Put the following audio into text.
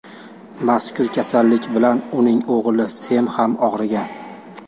Mazkur kasallik bilan uning o‘g‘li Sem ham og‘rigan.